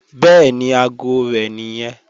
Bẹ́ẹ̀ni, aago rẹ̀ nìyẹn